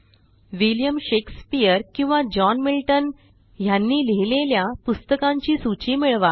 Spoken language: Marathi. विलियम शेक्सपिअर किंवा जॉन मिल्टन ह्यांनी लिहिलेल्या पुस्तकांची सूची मिळवा